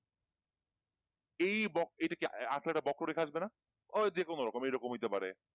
এই বক এটাকি আসলে এটা বক্ষরেখা আসবে না ওই এইরকম হইতে পারে